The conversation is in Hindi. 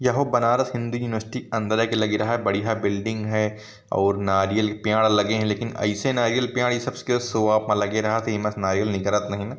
यहाँ बनारस हिन्दी यूनिवर्सिटी अंदर एक बड़ी बढ़िया बिल्डिंग है और नारियल के पेड़ लगे लेकिन ऐसे नारियल के पेड़ इ सब शो ऑफ मे लगे रहथ है इनमें नारियल निकारथ नहीं है ।